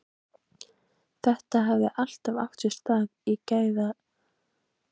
Þetta hefði allt átt sér stað í geðæsingu.